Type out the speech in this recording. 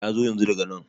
yazo yanzu daga nan